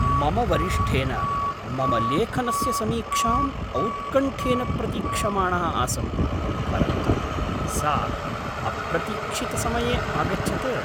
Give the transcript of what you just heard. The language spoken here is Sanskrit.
मम वरिष्ठेन मम लेखनस्य समीक्षाम् औत्कण्ठ्येन प्रतीक्षमाणः आसं, परन्तु सा अप्रतीक्षितसमये आगच्छत्।